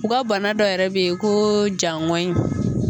U ka bana dɔ yɛrɛ bɛ ye ko jaŋonyi.